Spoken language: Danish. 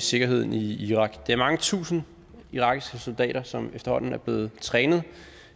sikkerheden i irak det er mange tusinde irakiske soldater som efterhånden er blevet trænet